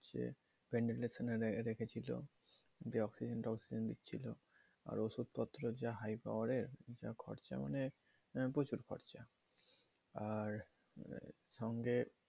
VENTILATION রেখেছিল যে oxygen টকসিজেন দিছিল আর ওষুধপত্র যা high power তা খরচা অনেক প্রচুর খরচা আর সঙ্গে